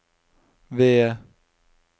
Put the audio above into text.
ved